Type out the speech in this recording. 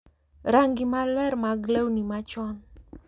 Rangi maler mag lewni machon,